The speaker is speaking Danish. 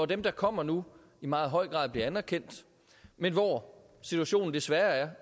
dem der kommer nu i meget høj grad bliver anerkendt men hvor situationen desværre er